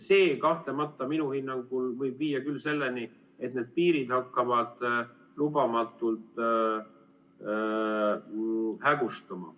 See minu hinnangul võib viia selleni, et need piirid hakkavad lubamatult hägustuma.